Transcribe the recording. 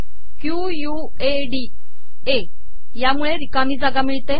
कयू U A D A मुळे िरकामी जागा िमळते